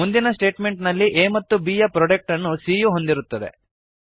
ಮುಂದಿನ ಸ್ಟೇಟ್ಮೆಂಟ್ನಲ್ಲಿ a ಮತ್ತು b ಯ ಪ್ರೊಡಕ್ಟ್ ಅನ್ನು c ಯು ಹೊಂದಿರುತ್ತದೆ